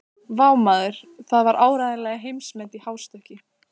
Vá, maður, það var áreiðanlega heimsmet í hástökki.